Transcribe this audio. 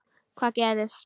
Hvað gerist?